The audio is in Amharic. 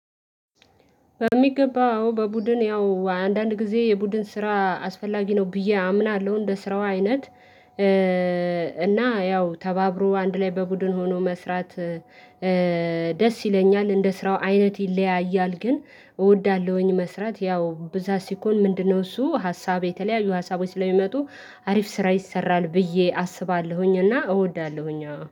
በሚገባው በቡድን ያው አንዳንድ ጊዜ የቡድን ስራ አስፈላጊ ነው ብዬ አምናለሁ እንደ ስራው አይነት እና ያው ተባብሮ አንድ ላይ በቡድን ሆኖ መስራት። ደስ ይለኛል እንደ ስራው አይነት ይለያያል። ግን እወዳለሁኝ መስራት ያው ብዛት ሲኮን ምንድነው? እሱ ሀሳብ የተለያዩ ሀሳቦች ስለሚመጡ አሪፍ ስራ ይሰራል ብዬ አስባለሁኝ። እና እወዳለሁኝ